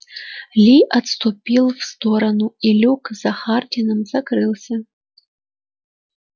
ли отступил в сторону и люк за хардином закрылся